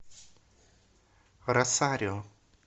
росарио